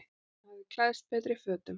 Hann hafði klæðst betri fötunum.